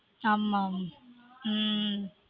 ஆமா ஆமா உம்